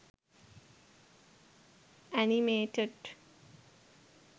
animated